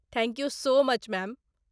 Thank you so much, ma'am.